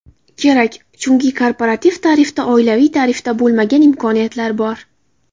Kerak, chunki korporativ tarifda oilaviy tarifda bo‘lmagan imkoniyatlar bor.